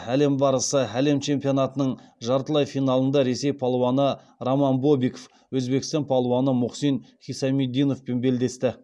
әлем барысы әлем чемпионатының жартылай финалында ресей палуаны роман бобиков өзбекстан палуаны мухсин хисамиддиновпен белдесті